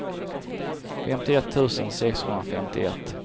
femtioett tusen sexhundrafemtioett